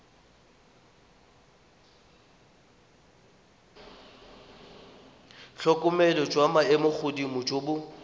tlhokomelo jwa maemogodimo jo bo